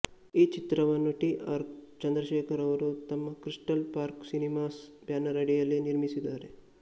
ಈ ಚಿತ್ರವನ್ನು T R Chandrashekar ಅವರು ತಮ್ಮ ಕ್ರಿಸ್ಟಲ್ ಪಾರ್ಕ್ ಸಿನಿಮಾಸ್ ಬ್ಯಾನರ್ ಅಡಿಯಲ್ಲಿ ನಿರ್ಮಿಸಿದ್ದಾರೆ